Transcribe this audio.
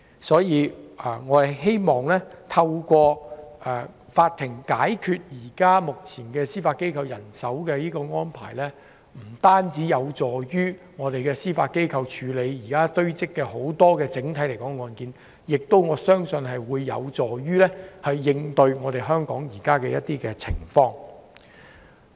所以，我相信調整目前司法機構人手的安排，不單有助司法機構處理現時堆積的案件，亦有助應對香港目前的一些情況。